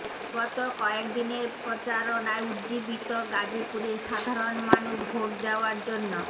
গত কয়েক দিনের প্রচারণায় উজ্জীবিত গাজীপুরের সাধারণ মানুষ ভোট দেওয়ার জন্য